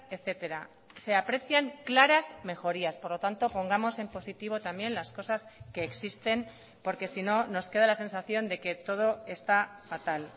etcétera se aprecian claras mejorías por lo tanto pongamos en positivo también las cosas que existen porque si no nos queda la sensación de que todo está fatal